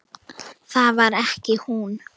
Það var ekki hún.